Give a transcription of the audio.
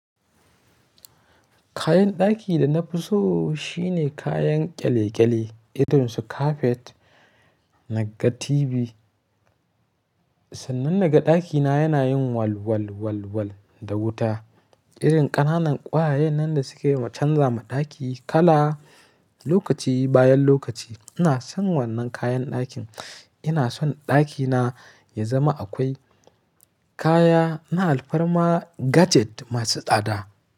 Kayan ɗaki da na fi so shine kayan kyale-kyale irin su kafet na ga TV. Sannan na ga ɗakina yana yin walwalwalwal da wuta, irin ƙananan ƙwayayen nan da suke canza ma ɗaki kala lokaci bayan lokaci. Ina son wannan kayan ɗakin. Ina son ɗakina ya zama akwai kaya. Na alfarma gadget masu tsada.